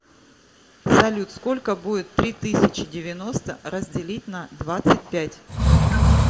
салют сколько будет три тысячи девяносто разделить на двадцать пять